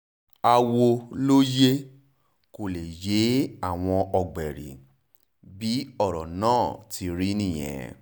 àwọ̀ ló yẹ kó lè yé àwọn ọ̀gbẹ̀rì bí ọ̀rọ̀ náà ti rí nìyẹn